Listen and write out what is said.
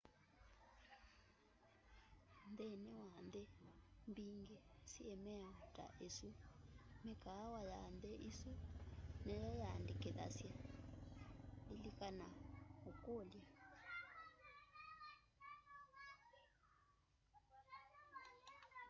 nthini wa nthi mbingi syi miao ta isu mikaawa ya nthi isu nimyo yandikithasya lilikana ukulya